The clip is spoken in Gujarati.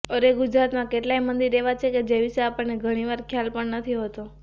અરે ગુજરાતમાં કેટલાય મંદિર એવા છે કે જે વિશે આપણને ઘણીવાર ખ્યાલ પણ નથી હોતો